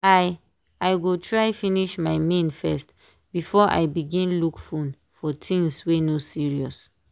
i i go try finish my main first before i begin look fone for things weey no serious.